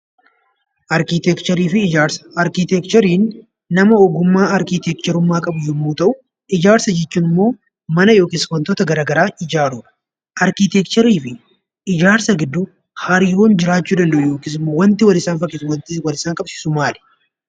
Arkitekcherii jechuun nama ogummaa arkitekcherummaa qabu yemmuu ta'u, ijaarsa jechuun immoo mana yookiin ijaarsota garagaraa ijaaruudha. Arkitekcherii fi ijaarsa gidduu hariiroon jiru maalidha?